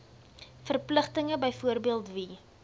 verpligtinge byvoorbeeld wie